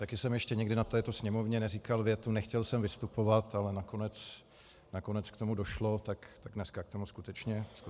Také jsem ještě nikdy na této sněmovně neříkal větu "nechtěl jsem vystupovat, ale nakonec k tomu došlo" - tak dneska k tomu skutečně došlo.